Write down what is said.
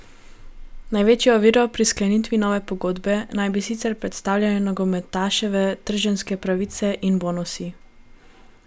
Največjo oviro pri sklenitvi nove pogodbe naj bi sicer predstavljale nogometaševe trženjske pravice in bonusi.